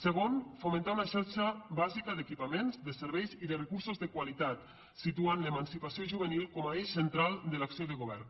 segon fomentar una xarxa bàsica d’equipaments de serveis i de recursos de qualitat situant l’emancipació juvenil com a eix central de l’acció de govern